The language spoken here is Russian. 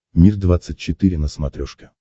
мир двадцать четыре на смотрешке